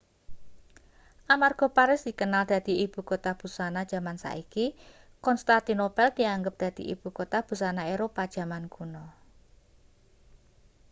amarga paris dikenal dadi ibukota busana jaman saiki konstantinopel dianggep dadi ibukota busana eropa jaman kuno